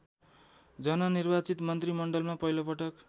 जननिर्वाचित मन्त्रीमण्डलमा पहिलोपटक